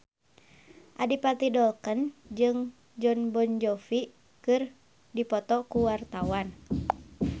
Adipati Dolken jeung Jon Bon Jovi keur dipoto ku wartawan